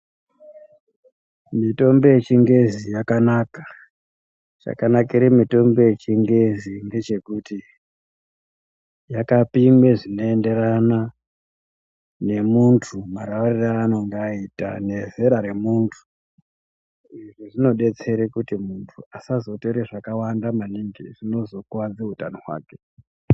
Mitombo yechingezi yakanaka. Chakanakire mitombo yechingezi ngechekuti yakapimwe zvinoenderana nemunhu, marwarire aanenge aita. Izvi zvidetsera kuti munhu asazotora zvakawanda maningi zvinozokuwadze utano hwake.